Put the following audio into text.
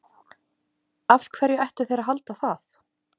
Af hverju ættu þeir að halda það?